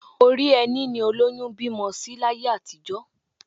Orí ẹní ni olóyún ń bímọ sí láyé àtijọ́